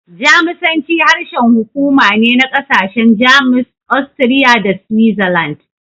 Jamusanci harshen hukuma ne na ƙasashen Jamus, Austria, da Switzerland.